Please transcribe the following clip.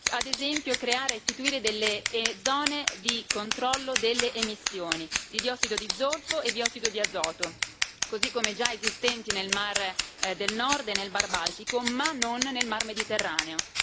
Ad esempio creare e istituire delle zone di controllo delle emissioni di diossido di zolfo e biossido di azoto, così come già esistenti nel Mare del Nord e nel Mar Baltico ma non nel Mar Mediterraneo.